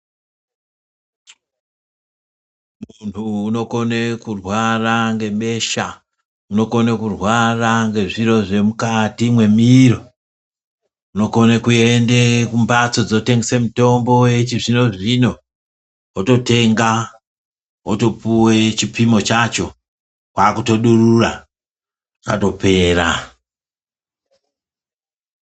Muntu unokone kurwara ngebesha. Unokone kurwara ngezviro zvemukati mwemiro, unokone kuende kumhatso dzinotengese mitombo yechizvino zvino wototenga wotopuwe chipimo chacho kwaakutodurura zvatopera.